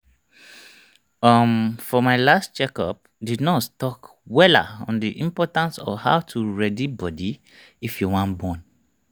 um for my last check up the nurse talk wella on the importance of how to ready body if you wan born